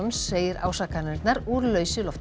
segir ásakanirnar úr lausu lofti